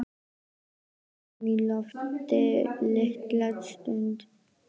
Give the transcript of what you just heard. Hélt honum á lofti litla stund.